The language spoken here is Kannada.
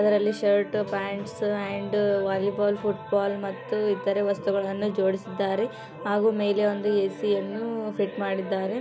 ಅದರಲ್ಲಿ shirt pants and volleyball football ಮತ್ತು ಇತರೆ ವಸ್ತುಗಳನ್ನು ಜೋಡಿಸಿದ್ದಾರೆ ಹಾಗು ಮೇಲೆ ಒಂದು ಎ.ಸಿ ಅನ್ನು ಫಿಟ್ ಮಾಡಿದ್ದಾರೆ .